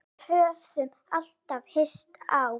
Við höfðum alltaf hist á